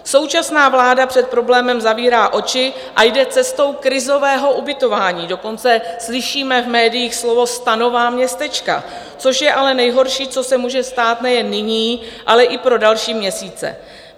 Současná vláda před problémem zavírá oči a jde cestou krizového ubytování, dokonce slyšíme v médiích slovo stanová městečka, což je ale nejhorší, co se může stát nejen nyní, ale i pro další měsíce.